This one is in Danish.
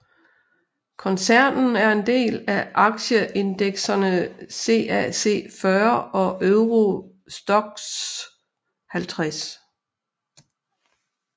Koncernen er en del af aktieindeksene CAC 40 og Euro Stoxx 50